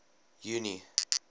junie